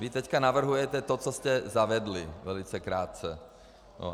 Vy teď navrhujete to, co jste zavedli, velice krátce.